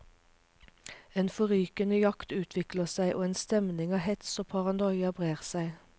En forrykende jakt utvikler seg, og en stemning av hets og paranoia brer seg.